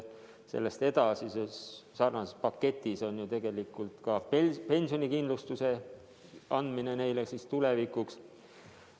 Selles paketis on tegelikult ette nähtud ka pensionikindlustuse andmine tulevikuks.